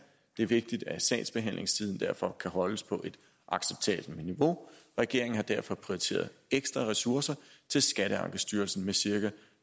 det er vigtigt at sagsbehandlingstiden derfor kan holdes på et acceptabelt niveau regeringen har derfor prioriteret ekstra ressourcer til skatteankestyrelsen med cirka